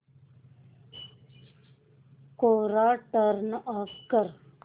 कोरा turn off कर